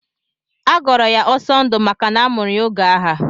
Agọrọ ya Ọsọndụ maka na amụrụ ya oge agha.